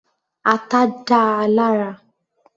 Ata dáa lára.